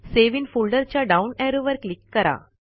save in folder च्या down ऍरोवर click करा